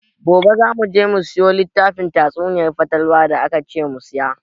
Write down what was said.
Gobe za mu je mu siyo littafin tatsuniyar fatalwa da akace mu siya.